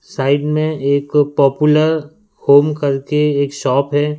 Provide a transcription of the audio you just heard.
Side में एक popular home करके एक शॉप है।